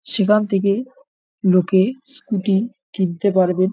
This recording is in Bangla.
সেখান থেকে লোকে স্কুটি কিনতে পারবেন।